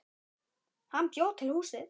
Hann bjó til húsið.